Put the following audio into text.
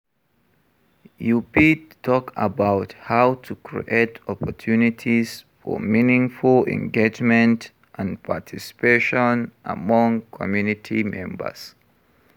You fit talk about how to create opportunities for meaningful engagement and participation among community members.